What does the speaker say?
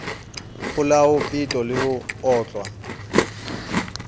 polao peto le ho otlwa